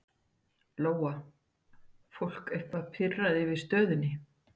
Lóa: Fólk eitthvað pirrað yfir stöðunni?